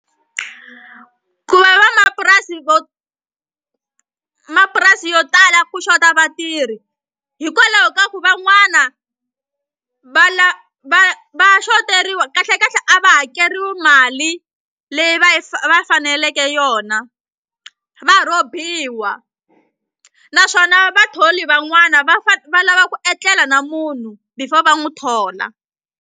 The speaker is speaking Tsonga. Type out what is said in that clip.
Ku va vamapurasi mapurasi yo tala ku xota vatirhi hikwalaho ka ku van'wana va va va xoteriwa kahlekahle a va hakeriwi mali leyi va va faneleke yona va rhobiwa naswona vatholi van'wana va va lava ku etlela na munhu before va n'wi thola.